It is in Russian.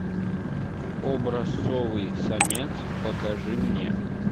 образцовый самец покажи мне